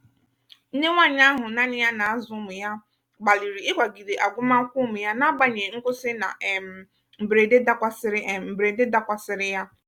nnenwanyị ahụ naanị ya na-azụ ụmụ ya gbalịrị ịkwagide agụmakwụkwọ ụmụ ya na-agbanyeghị nkwụsị na um mberede dakwasịrị um mberede dakwasịrị ya.